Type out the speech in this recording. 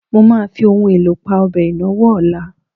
Mo máa fi ohun èlò pa ọbẹ̀ ìnáwó ọ̀la.